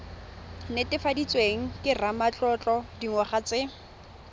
netefaditsweng ke ramatlotlo dingwaga tse